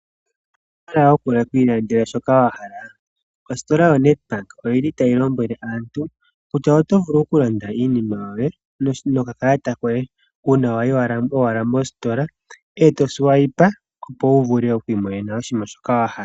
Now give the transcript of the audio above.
Owuna shoka wa hala okwiilandela ombaanga yoNEDBANK oyili tayi lombwele aaantu kutya oto vulu okulanda iinima yoye nokalata uuna wayi mositola eto swayipa oto vulu okwii monena shoka wa hala .